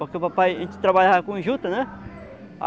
Porque o papai a gente trabalhava com juta, né?